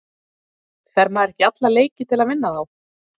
Fer maður ekki í alla leiki til að vinna þá?